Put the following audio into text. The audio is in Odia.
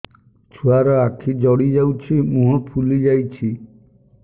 ଛୁଆର ଆଖି ଜଡ଼ି ଯାଉଛି ମୁହଁ ଫୁଲି ଯାଇଛି